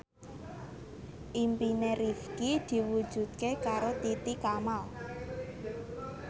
impine Rifqi diwujudke karo Titi Kamal